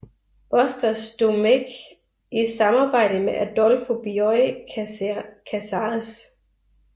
Bustos Domecq i samarbejde med Adolfo Bioy Casares